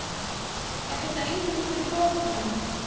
Er þetta eingöngu fyrir fótboltamenn?